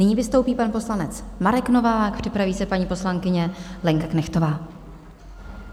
Nyní vystoupí pan poslanec Marek Novák, připraví se paní poslankyně Lenka Knechtová.